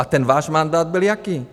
A ten váš mandát byl jaký?